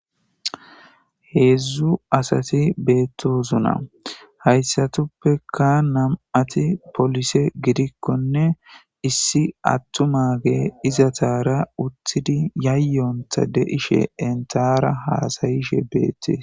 heedzdzu asati beettosona hayssatuppeka nam7ati polise gidikkonne issi attu mage izataara uttidi yayyonta deishe entaara haasayishe beettis